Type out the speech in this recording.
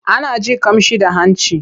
Ana jin ƙamshi da hanci.